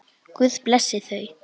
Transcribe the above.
Guð blessi þau.